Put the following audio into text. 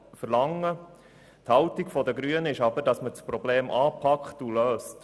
Die Haltung der Grünen ist aber, das Problem anzupacken und zu lösen.